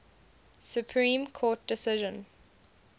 supreme court decision